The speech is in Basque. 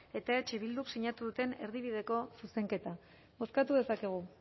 eta eh bilduk sinatu duten erdibideko zuzenketa bozkatu dezakegu